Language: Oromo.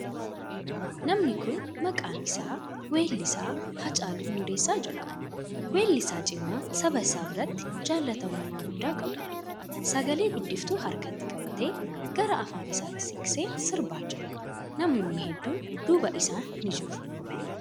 Namni kuni maqaan isaa weellisaa Haacaaluu Hundeessaa jedhama. Weellisaa cimaa saba isaa biratti jaallatamummaa guddaa qabuudha. Sagale guddiftuu harkatti qabatee, gara afaan isaatti siqsee sirbaa jira. Namootni hedduun duuba isa ni jiru.